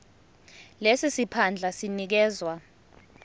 lesi siphandla sinikezwa